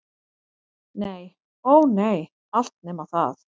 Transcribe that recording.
Nei- ó nei, allt nema það.